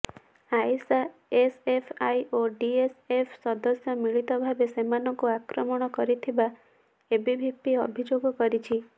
Ayesha SFI ଓ DSF ସଦସ୍ୟ ମିଳିତ ଭାବେ ସେମାନଙ୍କୁ ଆକ୍ରମଣ କରିଥିବା ଏବିଭିପି ଅଭିଯୋଗ କରିଛି